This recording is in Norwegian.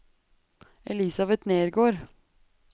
Elisabet Nergård